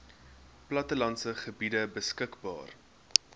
plattelandse gebiede beskikbaar